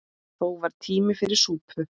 Þó var tími fyrir súpu.